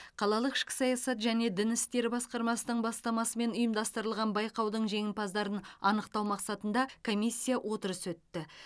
қалалық ішкі саясат және дін істері басқармасының бастамасымен ұйымдастырылған байқаудың жеңімпаздарын анықтау мақсатында комиссия отырысы өтті